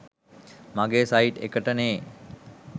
මගේ සයිට් එකට නේ